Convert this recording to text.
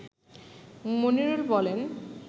মনিরুল বলেন